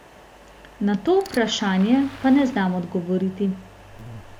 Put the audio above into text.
Na to vprašanje pa ne znam odgovoriti.